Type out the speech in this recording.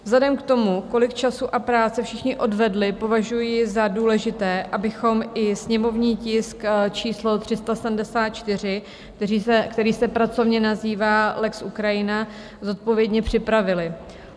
Vzhledem k tomu, kolik času a práce všichni odvedli, považuji za důležité, abychom i sněmovní tisk číslo 374, který se pracovně nazývá lex Ukrajina, zodpovědně připravili.